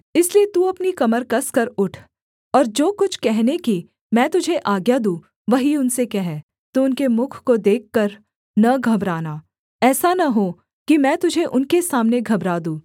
इसलिए तू अपनी कमर कसकर उठ और जो कुछ कहने की मैं तुझे आज्ञा दूँ वही उनसे कह तू उनके मुख को देखकर न घबराना ऐसा न हो कि मैं तुझे उनके सामने घबरा दूँ